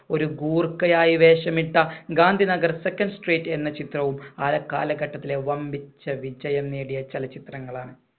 ഒരു ഗൂർഖയായി വേഷമിട്ട ഗാന്ധിനഗർ second street എന്ന ചിത്രവും ആ കാലഘട്ടത്തിലെ വൻപിച്ച വിജയം നേടിയ ചലച്ചിത്രങ്ങളാണ്.